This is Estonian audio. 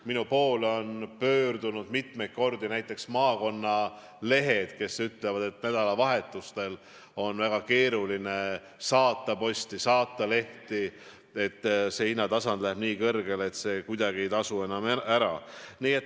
Minu poole on mitmeid kordi pöördunud näiteks maakonnalehed, kes ütlevad, et nädalavahetustel on väga keeruline saata posti, saata lehti, sest see hinnatasand läheb nii kõrgele, et see kuidagi ei tasu enam ära.